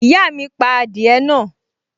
Ìyá mi pa adìẹ náà